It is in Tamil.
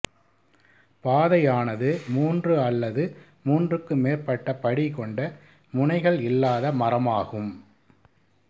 பாதையானது மூன்று அல்லது மூன்றுக்கு மேற்பட்ட படி கொண்ட முனைகள் இல்லாத மரமாகும்